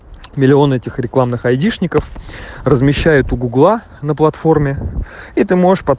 миллион этих рекламных айдишников размещает у гугла на платформе и ты можешь под